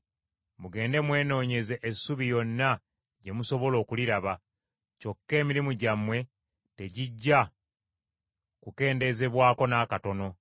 Mugende mwenoonyeze essubi yonna gye musobola okuliraba; kyokka emirimu gyammwe tegijja kukendeezebwako n’akatono.’ ”